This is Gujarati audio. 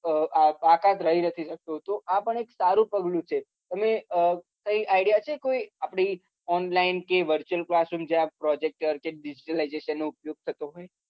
બાકાત રહી જતી હતી આ પણ સારું પગલું છે તમે કઈ idea છે આપડી online visual જ્યાં projector છે visualization નો ઉપયોગ થતો હોય